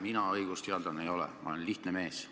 Mina õigusteadlane ei ole, ma olen lihtne mees.